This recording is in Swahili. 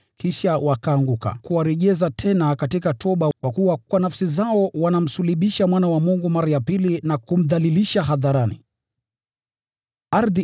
kisha wakianguka, kuwarejesha tena katika toba. Kwa kuwa wanamsulubisha Mwana wa Mungu mara ya pili na kumdhalilisha hadharani, nayo ikawa hasara kwao.